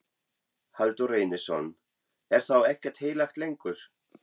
Halldór Reynisson: Er þá ekkert heilagt lengur?